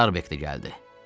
Starbek də gəldi.